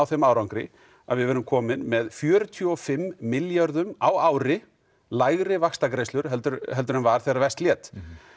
þeim árangri að við verðum komin með fjörutíu og fimm milljörðum á ári lægri vaxtagreiðslum en var þegar verst lét